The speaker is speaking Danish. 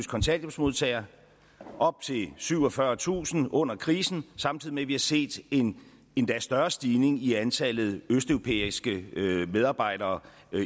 kontanthjælpsmodtagere op til syvogfyrretusind under krisen samtidig med at vi har set en endda større stigning i antallet af østeuropæiske medarbejdere